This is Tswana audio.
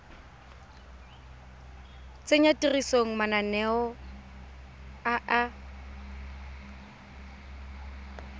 tsenya tirisong mananeo a a